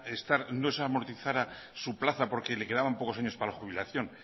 estar que no se amortizara su plaza porque le quedaban pocos años para la jubilación